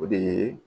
O de ye